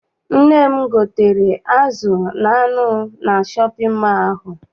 Nne m gotere azụ na anụ na shọpịn mọọ ahụ.